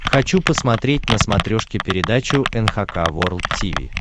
хочу посмотреть на смотрешке передачу эн эйч кей волд ти ви